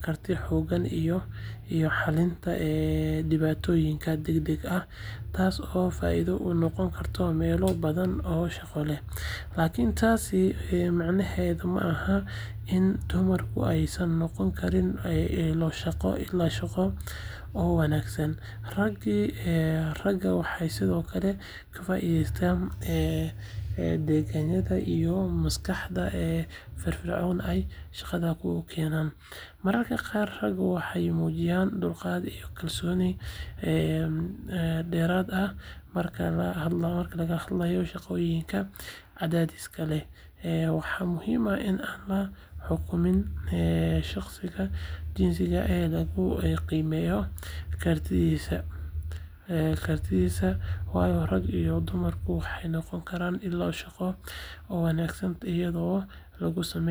karti hoggaan iyo xallinta dhibaatooyinka degdegga ah taasoo faa’iido u noqon karta meelo badan oo shaqo. Laakiin taasi macnaheedu ma aha in dumarku aysan noqon karin ilo shaqo oo wanaagsan. Ragga waxay sidoo kale ka faa’iideystaan degganaanta iyo maskaxda firfircoon ee ay shaqada u keenaan. Mararka qaar ragga waxay muujiyaan dulqaad iyo kalsooni dheeraad ah marka laga hadlayo shaqooyin cadaadis leh. Waxa muhiim ah in aan la xukum shaqsiga jinsi ahaan ee lagu qiimeeyo kartidiisa, waayo rag iyo dumarba waxay noqon karaan ilo shaqo oo wanaagsan iyadoo lagu salaynayo xirfadda, daacadnimada, iyo shaqo-wanaagga ay keeni karaan. Marka la soo koobo, raggu haa, waxay noqon karaan ilo shaqo oo wanaagsan, sababtuna waa kartidooda jireed, go’aansashada degdega ah, iyo hanashada xaaladaha adag.